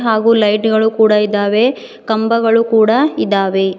ಹಾಗು ಲೈಟ್ ಗಳು ಕೂಡ ಇದಾವೆ ಕಂಬಗಳು ಕೂಡ ಇದಾವೆ.